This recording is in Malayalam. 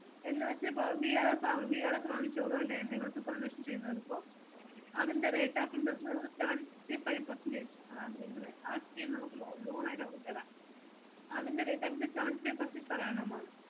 എന്നുവെച്ച് ഇപ്പൊ VRS ആവു~ VRS ചെയ്യുന്നത് ഇപ്പൊ അതിൻ്റെ rate of interest നമുക്ക് seventy five percentage ആ~ ഇവിടെ ആക്കിയാൽ നമുക്ക് lo~ loan ആയിട്ട് നമുക്ക് തരാം. അതിൻ്റെ rate seventy three percent per annum ആ